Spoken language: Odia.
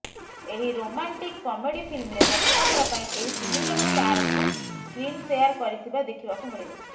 ଏହି ରୋମାଣ୍ଟିକ କମେଡି ଫିଲ୍ମରେ ପ୍ରଥମଥର ପାଇଁ ଏହି ତିନିଜଣ ଷ୍ଟାରଙ୍କୁ ସ୍କ୍ରିନ ସେୟାର କରିଥିବା ଦେଖିବାକୁ ମିଳିବ